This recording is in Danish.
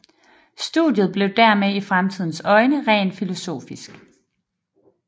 Studiet blev dermed i samtidens øjne rent filosofisk